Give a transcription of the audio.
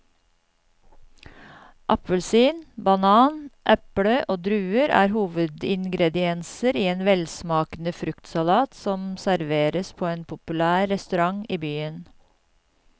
Appelsin, banan, eple og druer er hovedingredienser i en velsmakende fruktsalat som serveres på en populær restaurant i byen.